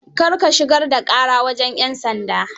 Kar ka shugar da ƙara wajan 'yan sanda.